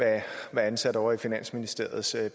være ansat ovre i finansministeriets